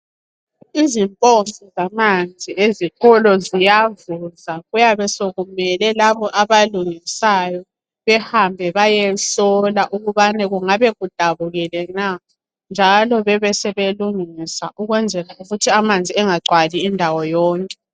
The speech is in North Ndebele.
Izimpompi zamanzi ezikolo ziyavuza, kuyabe sokumele labo abalungisayo behambe bayehlola ukubana kungabe kudabukile na. Njalo bebe sebelungisa ukwenzela ukuthi amanzi engagcwali indawo yonke.